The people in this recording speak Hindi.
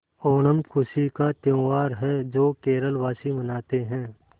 ओणम खुशी का त्यौहार है जो केरल वासी मनाते हैं